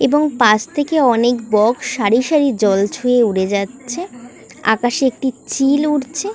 এবং পাশ থেকে অনেক বক সারি সারি জল ছুয়ে উড়ে যাচ্ছে আকাশে একটি চিল উড়ছে।